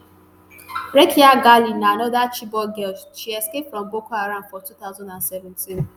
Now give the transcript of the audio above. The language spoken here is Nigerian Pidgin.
rakiya gali na anoda chibok girl she escape from boko haram for two thousand and seventeen